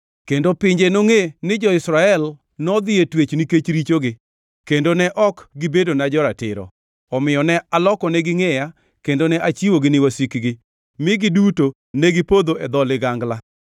Kendo pinje nongʼe ni jo-Israel nodhi e twech nikech richogi, kendo ne ok gibedona jo-ratiro. Omiyo ne alokonegi ngʼeya kendo ne achiwogi ni wasikgi, mi giduto negipodho e dho ligangla.